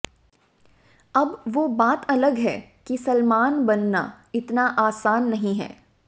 अब वो बात अलग है की सलमान बनना इतना आसन नहीं है